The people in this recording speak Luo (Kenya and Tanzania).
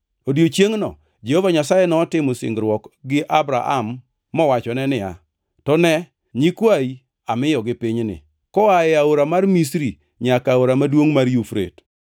Odiechiengno Jehova Nyasaye notimo singruok gi Abram mowachone niya, “To ne nyikwayi, amiyogi pinyni, koa e aora mar Misri nyaka aora maduongʼ mar Yufrate.